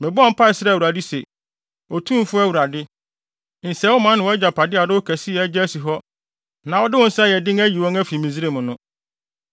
Mebɔɔ mpae srɛɛ Awurade se, “Otumfo Awurade, nsɛe wo man ne wʼagyapade a wode wo kɛseyɛ agye asi hɔ na wode wo nsa a ɛyɛ den ayi wɔn afi Misraim no.